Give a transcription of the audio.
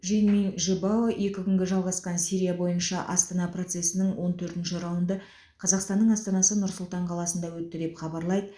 жэньминь жибао екі күнге жалғасқан сирия бойынша астана процесінің он төртінші раунды қазақстанның астанасы нұр сұлтан қаласында өтті деп хабарлайды